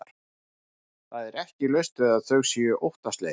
Það er ekki laust við að þau séu óttaslegin.